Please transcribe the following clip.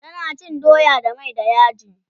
tana cin doya da mai da yaji